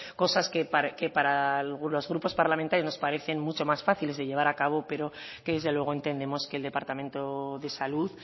cosas que para algunos grupos parlamentarios nos parecen mucho más fáciles de llevar a cabo pero que desde luego entendemos que el departamento de salud